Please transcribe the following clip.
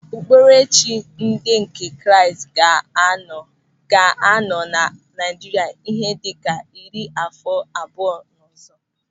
Okpukperechi ndị nke Kraịst ka ga-anọ na Naịjirịa ihe dịka iri àfọ abụọ ọzọ.